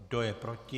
Kdo je proti?